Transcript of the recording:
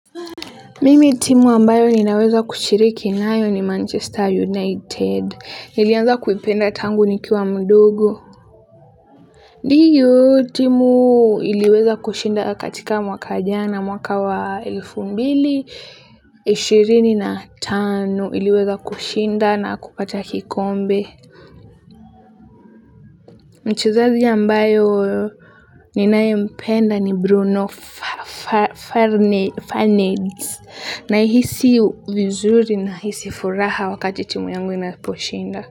Mimi timu ambayo ninaweza kushiriki nayo ni Manchester United, nilianza kuipenda tangu nikiwa mdogo. Ndiyo timu iliweza kushinda katika mwaka jana, mwaka wa elfu mbili, ishirini na tano iliweza kushinda na kupata kikombe. Mchezaji ambaye ninayempenda ni Bruno Farneds. Nahisi vizuri nahisi furaha wakati timu yangu inaposhinda.